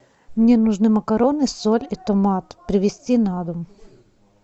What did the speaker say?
мне нужны макароны соль и томат привезти на дом